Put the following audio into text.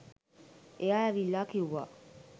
එයා ඇවිල්ලා කිව්වා